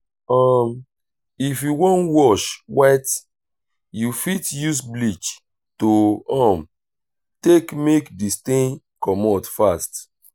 um if you wan wash white you fit use bleach to um take make di stain comot fast